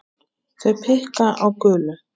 Þau blikka á gulu